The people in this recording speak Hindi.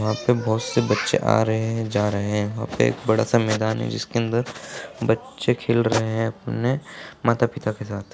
वहां पे बहुत से बच्चे आ रहे हैं जा रहे हैं वहां पे एक बड़ा-सा मैदान है जिसके अंदर बच्चे खेल रहे हैं अपने माता-पिता के साथ।